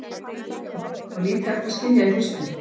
Ósköp var nú lítið hægt að skilja í fyrstu.